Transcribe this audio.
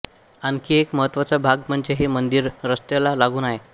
आणखी एक महत्त्वाचा भाग म्हणजे हे मंदिर रस्त्यला लागून आहे